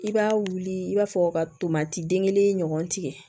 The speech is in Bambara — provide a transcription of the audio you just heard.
I b'a wuli i b'a fɔ ka tomati den kelen ɲɔgɔn tigɛ